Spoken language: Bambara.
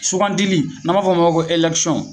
Sugandili n'an b'a fɔ ma ko elɛkisɔn